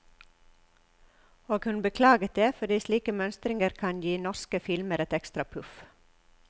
Og hun beklaget det, fordi slike mønstringer kan gi norske filmer et ekstra puff.